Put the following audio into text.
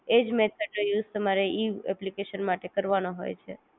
એજ method નો use તમારે ઈ એપ્લિકેશન માટે કારવાનો હોય છે